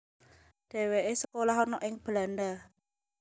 Dheweke sekolah ana ing Belanda